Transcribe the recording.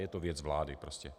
Je to věc vlády prostě.